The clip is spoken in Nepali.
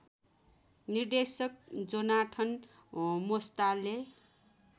निर्देशक जोनाथन मोस्टाले